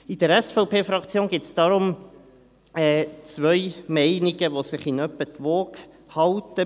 In der SVP-Fraktion gibt es deshalb zwei Meinungen, welche sich in etwa die Waage halten.